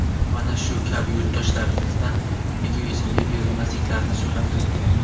Mana shu kabi yurtdoshlarimiz egoizmga berilmasliklarini so‘rardim.